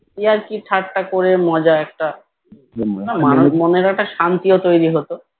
ইয়ার্কি ঠাট্টা করে মজা একটা মানুষ মনের একটা শান্তিও তৈরি হতো